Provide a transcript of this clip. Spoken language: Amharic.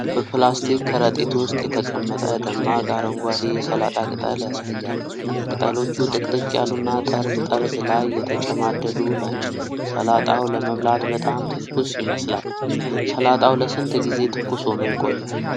በፕላስቲክ ከረጢት ውስጥ የተቀመጠ ደማቅ አረንጓዴ የሰላጣ ቅጠል ያሳያል። ቅጠሎቹ ጥቅጥቅ ያሉና ጠርዝ ጠርዝ ላይ የተጨማደዱ ናቸው። ሰላጣው ለመብላት በጣም ትኩስ ይመስላል። ሰላጣው ለስንት ጊዜ ትኩስ ሆኖ ይቆያል?